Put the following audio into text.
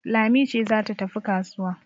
Lami ce za ta tafi kasuwa